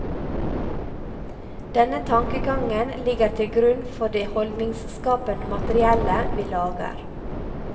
Denne tankegangen ligger til grunn for det holdningsskapende materiellet vi lager.